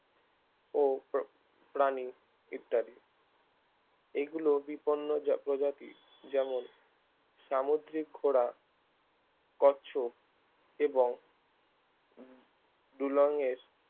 ও প্ৰ প্রাণী ইত্যাদি এগুলো বিপন্ন প্রজাতি যেমন সামুদ্রিক ঘোড়া কচ্ছপ এবং দুলঙের